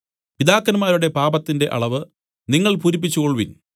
പിതാക്കന്മാരുടെ പാപത്തിന്റെ അളവ് നിങ്ങൾ പൂരിപ്പിച്ചു കൊൾവിൻ